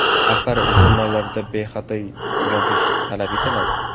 Axir jurnallarda bexato yozish talab etiladi.